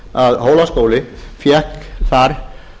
að hólaskóli fékk þar